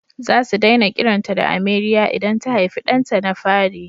Za su daina kiranta da Ameriya idan ta haifi ɗanta na fari